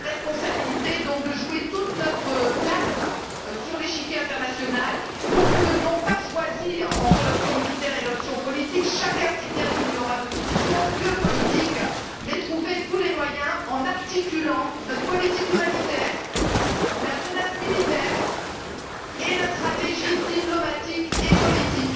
La responsabilité de jouer tout notre rôle sur l'échiquier international pour, non pas choisir entre l'option militaire et l'option politique chacun sait bien qu'il n'y aura de solution que politique mais trouver tous les moyens, en articulant notre politique humanitaire, la menace militaire et notre stratégie diplomatique et politique.